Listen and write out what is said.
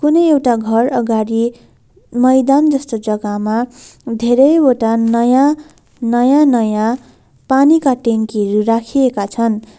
कुनै एउटा घर अगाडि मैदान जस्तो जगामा धेरैवटा नयाँ नयाँ नयाँ पानीका ट्याङ्कीहरू राखिएका छन्।